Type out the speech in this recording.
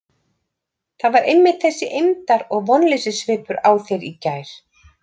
Það var einmitt þessi eymdar- og vonleysissvipur á þér í gær.